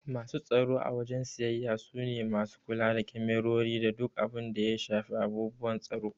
Masu tsaro a wajen siyayya su ne masu kula da kemarori da duk abun da ya shafi abubuwan tsaro.